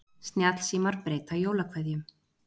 Snjallsímar breyta jólakveðjum